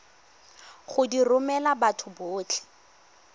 go di romela batho botlhe